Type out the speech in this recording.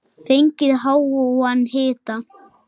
Fengið háan hita.